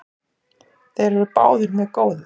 Þeir eru báðir mjög góðir.